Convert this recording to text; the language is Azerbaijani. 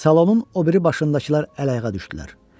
Salonun o biri başındakılar əl-ayağa düşdülər.